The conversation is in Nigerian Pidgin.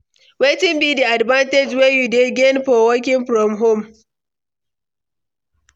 wetin be di advantage wey you dey gain for working from home?